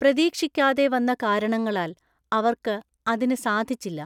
പ്രതീക്ഷിക്കാതെ വന്ന കാരണങ്ങളാൽ അവർക്ക് അതിന് സാധിച്ചില്ല .